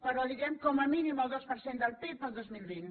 però diguem com a mínim el dos per cent del pib el dos mil vint